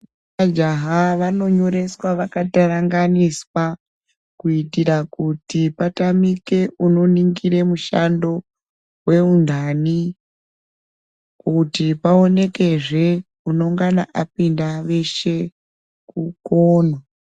Majaha vanonyoreswa vakataranganiswa kuitira kuti patamike unoningire mushando, weunthani ,kuti paonekezve ,unongana apinda veshe kukona.